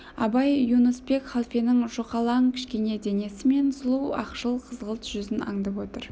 абай юнуспек халфенің жұқалаң кішкене денесі мен сұлу ақшыл-қызғылт жүзін аңдап отыр